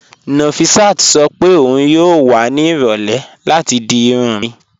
Nọfisát sọ pé ọun yóò wà ní irọ̀lẹ̀ láti di irùn mí